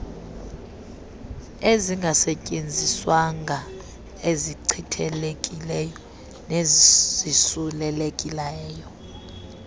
ezingasetyenziswanga ezichithekileyo nezisulelekileyo